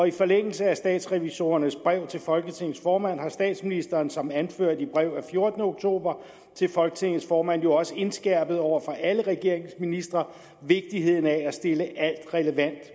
i forlængelse af statsrevisorernes brev til folketingets formand har statsministeren som anført i brev af fjortende oktober til folketingets formand jo også indskærpet over for alle regeringens ministre vigtigheden af at stille alt relevant